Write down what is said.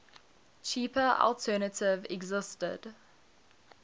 cheaper alternative existed